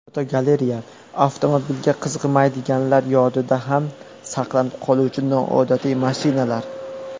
Fotogalereya: Avtomobilga qiziqmaydiganlar yodida ham saqlanib qoluvchi noodatiy mashinalar.